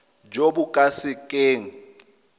jo bo ka se keng